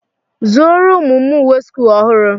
Zụrụ ụmụ m uwe sch ọhụrụ.